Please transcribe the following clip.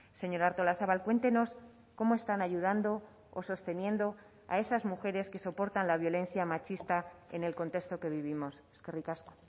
señora artolazabal cuéntenos cómo están ayudando o sosteniendo a esas mujeres que soportan la violencia machista en el contexto que vivimos eskerrik asko